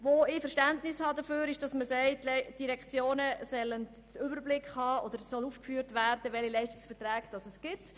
Ich habe Verständnis für die Forderung, wonach aufgeführt werden soll, welche Leistungsverträge bestehen.